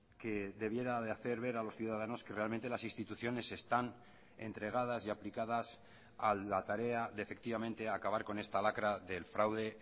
que debiera de hacer ver a los ciudadanos que realmente las instituciones están entregadas y aplicadas a la tarea de efectivamente acabar con esta lacra del fraude